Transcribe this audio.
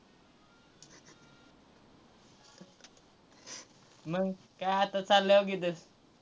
मंग काय आता चाललोय हो की इथंच.